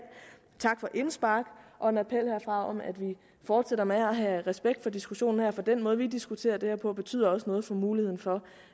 tak for indspark og en appel herfra om at vi fortsætter med at have respekt for diskussionen her for den måde vi diskuterer det her på betyder også noget for muligheden for